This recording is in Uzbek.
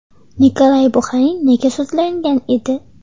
Nikolay Buxarin nega sudlangan edi?.